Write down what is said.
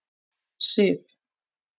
Sif